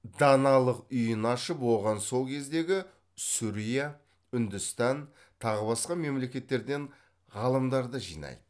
даналық үйін ашып оған сол кездегі сүрия үндістан тағы басқа мемлекеттерден ғалымдарды жинайды